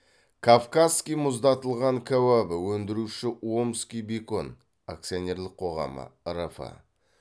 кавказский мұздатылған кәуабы өндіруші омский бекон акционерлік қоғамы рф